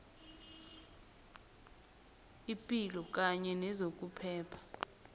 ipilo kanye nezokuphepha